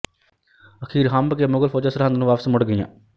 ਅਖ਼ੀਰ ਹੰਭ ਕੇ ਮੁਗ਼ਲ ਫ਼ੌਜਾਂ ਸਰਹੰਦ ਨੂੰ ਵਾਪਸ ਮੁੜ ਗਈਆਂ